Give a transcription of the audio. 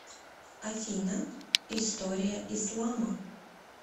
афина история ислама